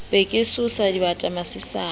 be ke tsosa dibata masene